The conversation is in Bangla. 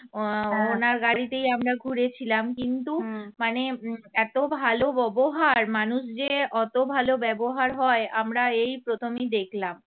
আহ ওনার গাড়িতেই আমরা ঘুরেছিলাম কিন্তু মানে এত ভালো ব্যবহার মানুষ যে অত ভালো ব্যবহার হয় আমরা এই প্রথমই দেখলাম